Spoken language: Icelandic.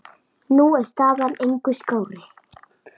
Nú er staðan engu skárri.